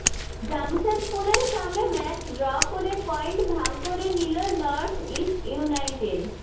জামশেদপুরের সঙ্গে match draw করে point ভাগ করে নিল নর্থইস্ট ইউনাইটেড